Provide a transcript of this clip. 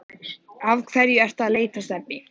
Af hverju ertu að leita að Stebba